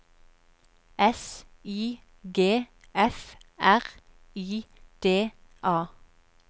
S I G F R I D A